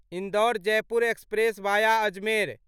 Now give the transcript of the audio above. Indore Jaipur express via Ajmer